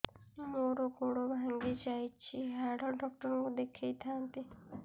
ମୋର ଗୋଡ ଭାଙ୍ଗି ଯାଇଛି ହାଡ ଡକ୍ଟର ଙ୍କୁ ଦେଖେଇ ଥାନ୍ତି